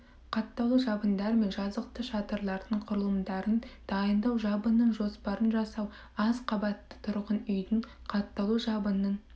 қаттаулы жабындар мен жазықты шатырлардың құрылымдарын дайындау жабынның жоспарын жасау аз қабатты тұрғын үйдің қаттаулы жабынның